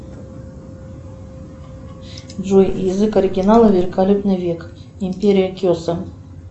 джой язык оригинала великолепный век империя кесем